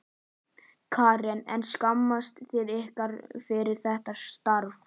Karen: En skammist þið ykkar fyrir þetta starf?